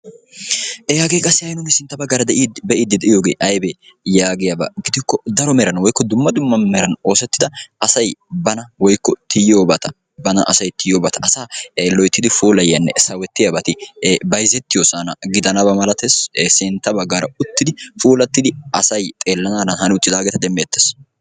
eyaagee qassi hai nuuni sintta baggaara de'iiddi de'iyoogee aybbee yaagiyaabaa gidikko daro meran woikko dumma dumma meran oosettida asai bana woykko tiyiyoobata bana asay tiyoobata asa loyttidi pholayiyaanne sawettiyaabaati bayzettiyo sana gidanaba malatees sintta baggaara uttidi puulattidi asay xeellanaadan haani uttidaageeta demmi ettees